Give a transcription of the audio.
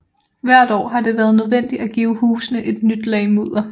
Hvert år har det været nødvendigt at give husene et nyt lag mudder